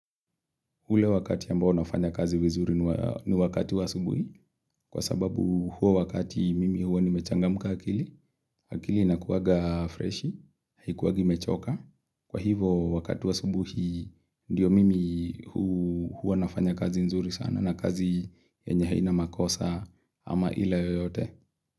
Hule wakati ambao nafanya kazi wizuri ni wakati wa asubuhi kwa sababu huo wakati mimi huo ni mechangamuka akili. Akili inakuwaga fresh, haikuwagi mechoka. Kwa hivo wakati wa asubuhi ndiyo mimi huo nafanya kazi nzuri sana na kazi yenye haina makosa ama ila yoyote.